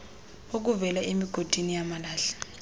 okuvela emigodini yamalahle